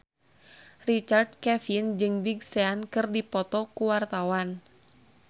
Richard Kevin jeung Big Sean keur dipoto ku wartawan